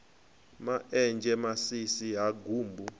ma enzhe masisi ha gumbu